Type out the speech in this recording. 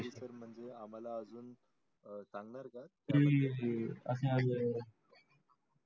म्हणजे सागणार काय